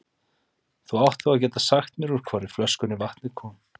Þú átt þá að geta sagt mér úr hvorri flöskunni vatnið kom.